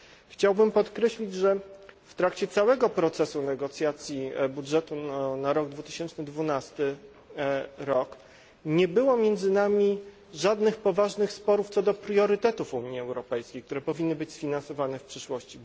Chciałbym podkreślić, że w trakcie całego procesu negocjacji budżetu na rok 2012 nie było między nami żadnych poważnych sporów co do priorytetów Unii Europejskiej, które powinny być sfinansowane w przyszłości.